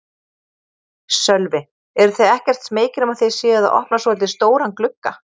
Sölvi: Eruð þið ekkert smeykir um að þið séuð að opna svolítið stóran glugga?